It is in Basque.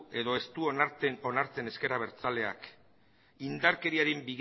edo ez du onartzen ezker abertzaleak indarkeriaren